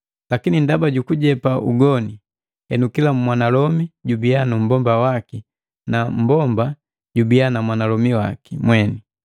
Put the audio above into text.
Lakini ndaba jukujepa ugoni, henu kila mwanalomi jubiya nummbomba waki na mmbomba jubiya nundomi waki mweni.